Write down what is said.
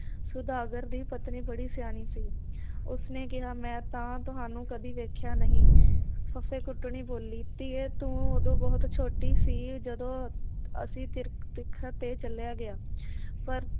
ਸੌਦਾਗਰ ਦੀ ਪਤਨੀ ਬੜੀ ਸਿਆਣੀ ਸੀ ਉਸਨੇ ਕਿਹਾ ਮੈ ਤਾਂ ਤੁਹਾਨੂੰ ਕਦੇ ਵੇਖਿਆ ਨਹੀ ਫੱਫੇ ਕੁੱਟਣੀ ਬੋਲੀ ਧੀਏ ਤੂੰ ਉਦੋਂ ਬਹੁਤ ਛੋਟੀ ਸੀ ਜਦੋਂ ਅਸੀ ਤੇ ਚੱਲਿਆ ਗਿਆ ਪਰ